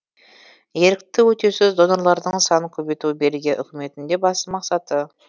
ерікті өтеусіз донорлардың санын көбейту бельгия үкіметінің де басты мақсаты